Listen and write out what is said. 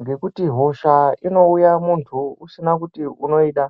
Ngekuti hosha inouya muntu usina kuti unoda.